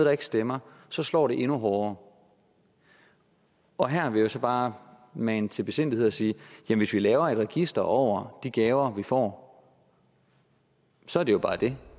og ikke stemmer så slår det endnu hårdere og her vil jeg så bare mane til besindighed og sige at hvis vi laver et register over de gaver vi får så er det jo bare det